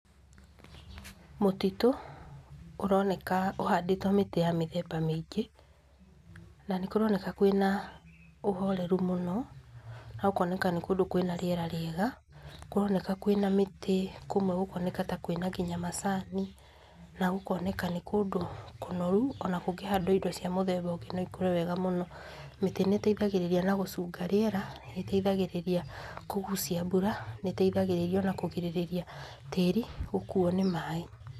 Mũtitũ ũroneka ũhandĩtwo mĩtĩ ya mĩthemba mĩingĩ, na nĩ kũroneka kwĩ na ũhoreru mũno, na gũkoneka nĩ kũndũ kwĩ na rĩera rĩega. Kũroneka kwĩ na mĩtĩ, kũmwe gũkoneka ta kwĩ nginya macani, na gũkoneka nĩ kũndũ kũnoru, o na gũkĩhandwo indo cia mũthemba ũngĩ no ikũre wega mũno. Mĩtĩ nĩ ĩteithagĩrĩria na gũcunga rĩera, nĩ ĩteithagĩrĩria kũgucia mbura, nĩ ĩteithagĩrĩria o na kũgirĩrĩria tĩĩri gũkuo ni maaĩ.